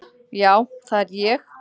Já, það er ég!